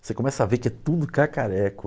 Você começa a ver que é tudo cacareco.